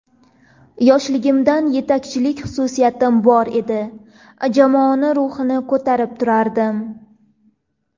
Yoshligimdan yetakchilik xususiyatim bor edi, jamoani ruhini ko‘tarib turardim.